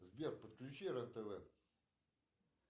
сбер подключи рен тв